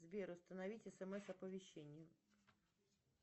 сбер установить смс оповещение